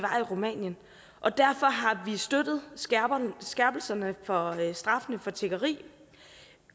rumænien og derfor har vi støttet skærpelserne for straffene for tiggeri